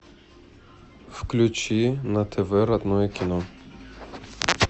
включи на тв родное кино